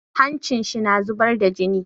Hancin shi na zubar da jini.